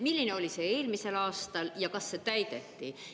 Milline oli see eelmisel aastal ja kas see täideti?